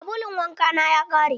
Sabulun wanka na ya ƙare.